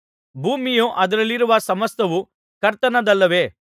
ಭೂಮಿಯು ಅದರಲ್ಲಿರುವ ಸಮಸ್ತವೂ ಕರ್ತನದಲ್ಲವೇ